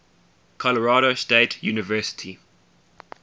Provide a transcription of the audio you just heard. colorado state university